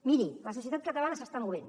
miri la societat catalana s’està movent